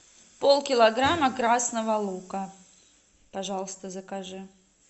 полкилограмма красного лука пожалуйста закажи